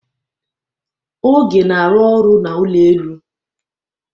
Oge na-arụ ọrụ n'ụlọ elu.